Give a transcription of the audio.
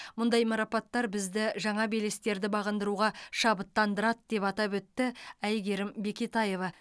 мұндай марапаттар бізді жаңа белестерді бағындыруға шабыттандырады деп атап өтті әйгерім бекетаева